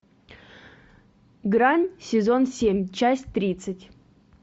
грань сезон семь часть тридцать